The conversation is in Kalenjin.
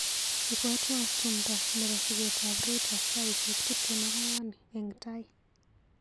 Ibwatwa tumndo nebo sigetab Rita saisiek tuptem ak ang'wan eng taii.